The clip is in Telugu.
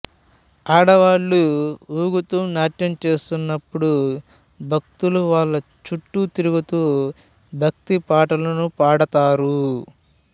ఆడవాళ్లు ఊగుతూ నాట్యం చేస్తున్నప్పుడు భక్తులు వాళ్ళ చుట్టూ తిరుగుతూ భక్తి పాటలను పాడతారు